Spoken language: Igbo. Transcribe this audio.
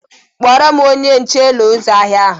Kpọrọ m onye nche Ụlọ ịzụ ahịa ahụ!